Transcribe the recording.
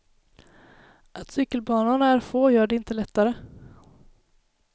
Att cykelbanorna är få gör det inte lättare.